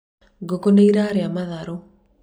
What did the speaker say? ngũkũ nĩ ĩrarĩa matharũ